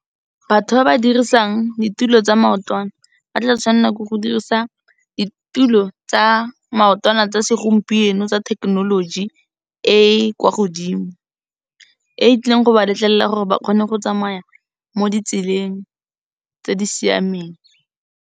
Batho ba ba dirisang ditulo tsa maotwana, ba tla tshwanela ke go dirisa ditulo tsa maotwana tsa segompieno tsa technology e e kwa godimo, e e tlileng go ba letlelela gore ba kgone go tsamaya mo di tseleng tse di siameng.